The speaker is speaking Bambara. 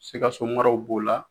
Sikasomaraw b'o la